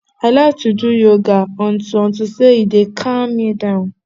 i like to do yoga unto unto say e dey calm me down